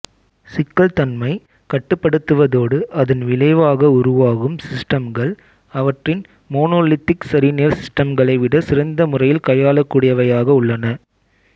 சிக்கல்தன்மை கட்டுப்படுத்தப்படுவதோடு அதன் விளைவாக உருவாகும் சிஸ்டம்கள் அவற்றின் மோனோலித்திக் சரிநேர் சிஸ்டம்களைவிட சிறந்தமுறையில் கையாளக்கூடியவையாக உள்ளன